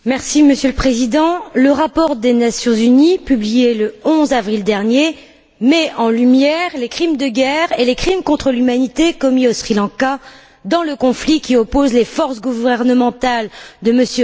Monsieur le Président, le rapport des Nations unies, publié le 11 avril dernier, met en lumière les crimes de guerre et les crimes contre l'humanité commis au Sri Lanka dans le cadre du conflit qui oppose les forces gouvernementales de M.